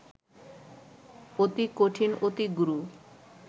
অতি কঠিন-অতি গূঢ়